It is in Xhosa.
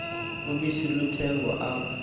ubisi luthengwa apha